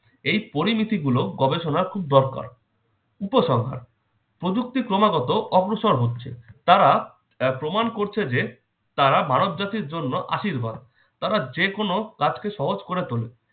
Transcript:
এই পরিণতিগুলো গবেষণার খুব দরকার। উপসংহার- প্রযুক্তির ক্রমাগত অগ্রসর হচ্ছে। তারা আহ প্রমাণ করছে যে তারা মানবজাতির জন্য আশীর্বাদ। তারা যেকোনো কাজকে সহজ করে তোলে।